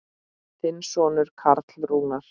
Þinn sonur Karl Rúnar.